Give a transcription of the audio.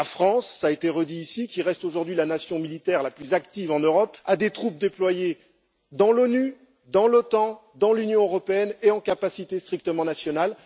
La France cela a été redit ici qui reste aujourd'hui la nation militaire la plus active en Europe, a des troupes déployées dans l'ONU, dans l'OTAN, dans l'Union européenne et en capacité strictement nationale.